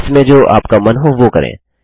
इसमें जो आपका मन हो वो करें